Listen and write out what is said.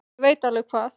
Ég veit alveg hvað